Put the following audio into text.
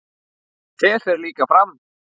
Þér fer líka fram.